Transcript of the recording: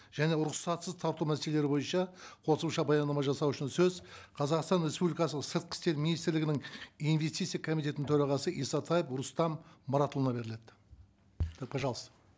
және рұқсатсыз тарту мәселелері бойынша қосымша баяндама жасау үшін сөз қазақстан республикасы сыртқы істер министрлігінің инвестиция комитетінің төрағасы исатаев рустам мұратұлына беріледі і пожалуйста